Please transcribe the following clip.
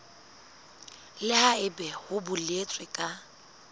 le haebe ho boletswe ka